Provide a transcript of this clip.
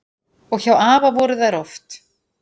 Og hjá afa voru þær oft.